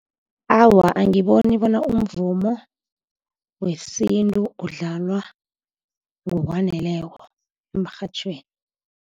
Awa, angiboni bona umvumo wesintu udlalwa ngokwaneleko emrhatjhweni.